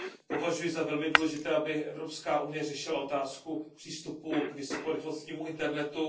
Považuji za velmi důležité, aby Evropská unie řešila otázku přístupu k vysokorychlostnímu internetu.